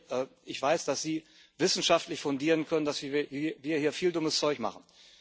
Herr Gierek, ich weiß, dass Sie wissenschaftlich fundieren können, dass wir hier viel dummes Zeug machen.